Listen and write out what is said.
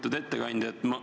Lugupeetud ettekandja!